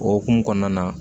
O hukumu kɔnɔna na